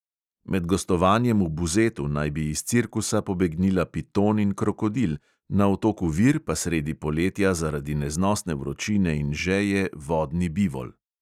Med gostovanjem v buzetu naj bi iz cirkusa pobegnila piton in krokodil, na otoku vir pa sredi poletja zaradi neznosne vročine in žeje vodni bivol.